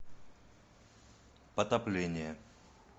потопление